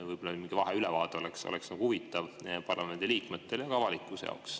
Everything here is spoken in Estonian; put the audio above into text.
Võib-olla mingi vaheülevaade oleks huvitav parlamendiliikmetele ja ka avalikkuse jaoks.